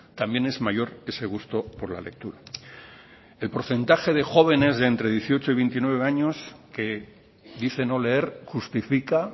también es mayor ese gusto por la lectura el porcentaje de jóvenes de entre dieciocho y veintinueve años que dicen no leer justifica